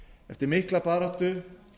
eftir mikla baráttu